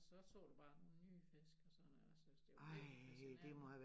Og så så du bare nogle nye fisk og sådan noget altså det var virkelig fascinerende